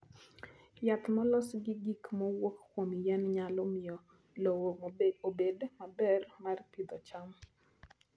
Yath molos gi gik mowuok kuom yien nyalo miyo lowo obed maber mar pidho cham.